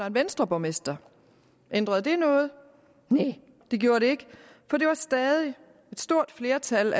en venstreborgmester ændrede det noget næh det gjorde det ikke for det var stadig et stort flertal